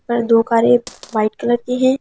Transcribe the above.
ऊपर दो कारे व्हाइट कलर की हैं।